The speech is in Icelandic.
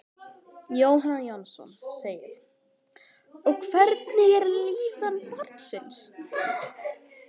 Jóhann Jóhannsson: Og hvernig er líðan barnsins?